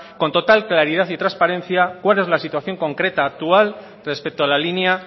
con total claridad y transparencia cuál es la situación concreta actual respecto a la línea